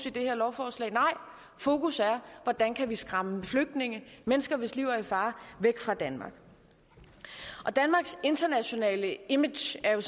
i det her lovforslag nej fokus er hvordan kan vi skræmme flygtninge mennesker hvis liv er i fare væk fra danmark danmarks internationale image er jo